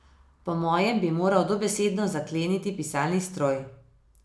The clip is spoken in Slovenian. Po mojem bi moral dobesedno zakleniti pisalni stroj.